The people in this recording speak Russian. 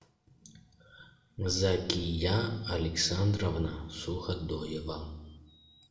закия александровна суходоева